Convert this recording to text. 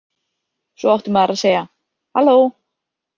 Svo átti maður að segja: „Halló!“